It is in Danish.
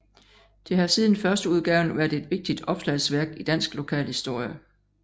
Det har siden førsteudgaven været et vigtigt opslagsværk i dansk lokalhistorie